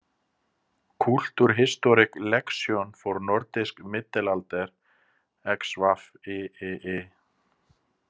Kulturhistorisk leksikon for nordisk middelalder XVIII.